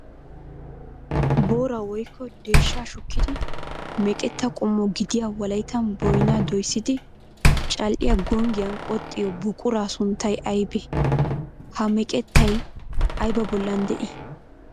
booraa woyikko deeshshaa shukkidi meqettaa qommo gidiya wolayittan boyinaa doyissiddi cal"iya gonggiyan qoxxiyo buquraa sunttay ayibee? ha meqettay ayibaa bollan de"i?